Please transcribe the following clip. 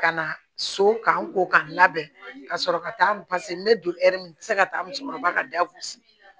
Ka na so k'a ko k'a labɛn ka sɔrɔ ka taa n bɛ don min na n tɛ se ka taa musokɔrɔba ka dagosi